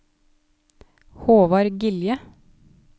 Håvard Gilje